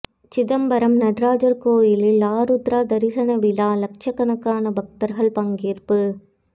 சிதம்பரம் நடராஜர் கோயிலில் ஆருத்ரா தரிசன விழா லட்சக்கணக்கான பக்தர்கள் பங்கேற்பு